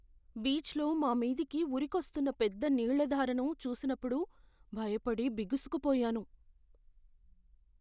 బీచ్లో మా మీదికి ఉరికొస్తున్న పెద్ద నీళ్ళ ధారను చూసినప్పుడు భయపడి, బిగుసుకుపోయాను.